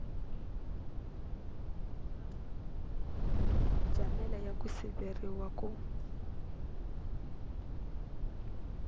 jamela ya ku siveriwa ku